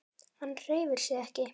Hann hreyfir sig ekki.